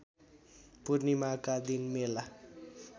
पूर्णिमाका दिन मेला